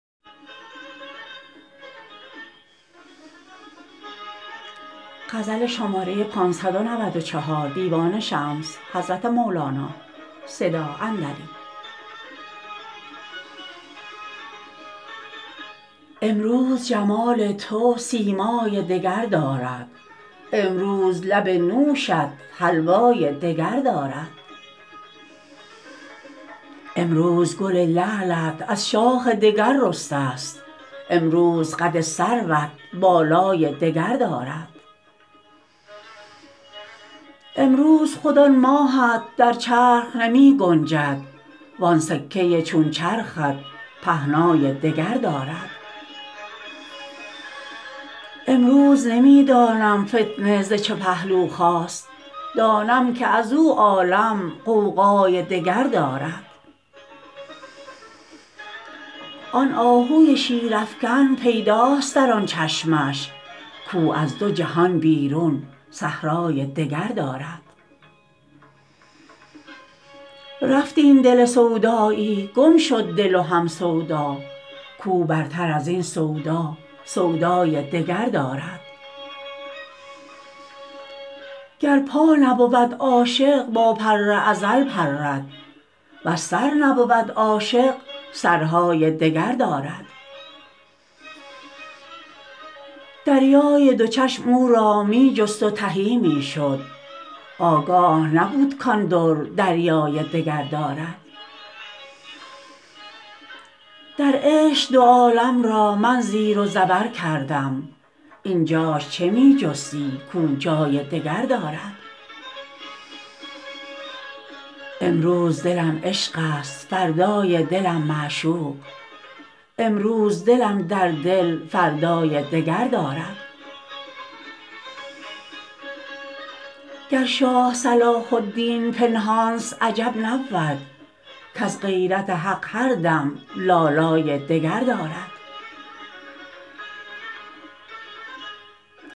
امروز جمال تو سیمای دگر دارد امروز لب نوشت حلوای دگر دارد امروز گل لعلت از شاخ دگر رسته ست امروز قد سروت بالای دگر دارد امروز خود آن ماهت در چرخ نمی گنجد وان سکه ی چون چرخت پهنای دگر دارد امروز نمی دانم فتنه ز چه پهلو خاست دانم که از او عالم غوغای دگر دارد آن آهو شیرافکن پیداست در آن چشمش کاو از دو جهان بیرون صحرای دگر دارد رفت این دل سودایی گم شد دل و هم سودا کاو برتر از این سودا سودای دگر دارد گر پا نبود عاشق با پر ازل پرد ور سر نبود عاشق سرهای دگر دارد دریای دو چشم او را می جست و تهی می شد آگاه نبد کان در دریای دگر دارد در عشق دو عالم را من زیر و زبر کردم این جاش چه می جستی کاو جای دگر دارد امروز دلم عشقست فردای دلم معشوق امروز دلم در دل فردای دگر دارد گر شاه صلاح الدین پنهانست عجب نبود کز غیرت حق هر دم لالای دگر دارد